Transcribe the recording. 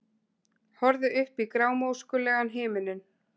Horfði upp í grámóskulegan himininn.